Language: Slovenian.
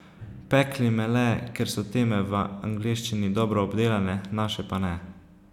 Pekli me le, ker so teme v angleščini dobro obdelane, naše pa ne.